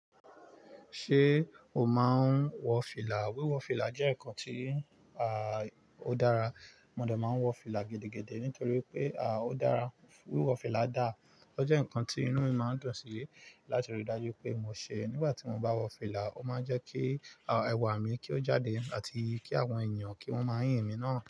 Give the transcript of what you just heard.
Ṣé o máa ń wọ fìlà? Wíwọ fìlà jẹ́ ǹkan tí, à, ó dára. Mọ dọ̀ máa ń wọ fìlà gidi-gidi nítorí pé, à, ó dára. Wíwọ fìlà dá, ó jẹ́ ǹkan tí inú mi máa ń dùn sí láti rí dájú pé mo ṣe. Nígbà tí mo bá wọ fìlà, ó máa ń jẹ́ kí, à, ẹwà mi kí ó jáde àti kí àwọn èèyàn kí wọ́n máa yìn mí náà.